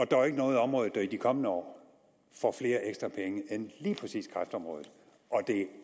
der er ikke noget område der i de kommende år får flere ekstra penge end lige præcis kræftområdet og det er